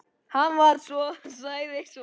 Hann sagði svo margt.